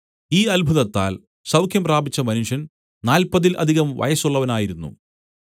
ഈ അത്ഭുതത്താൽ സൗഖ്യം പ്രാപിച്ച മനുഷ്യൻ നാല്പതിൽ അധികം വയസ്സുള്ളവനായിരുന്നു